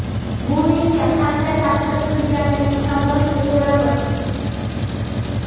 Bu menga qanday ta’sir qilganini shanba kuni ko‘ramiz.